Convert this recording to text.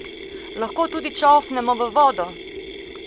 Lahko tudi čofnemo v vodo!